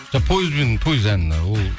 поездбен поезд әні ол